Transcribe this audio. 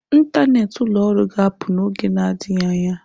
ntanet ụlọ ọrụ ga-apụ n'oge adịghị anya.